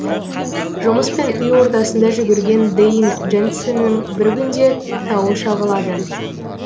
жұмыс пен үй ортасында жүгірген дэйн дженсеннің бір күнде тауы шағылады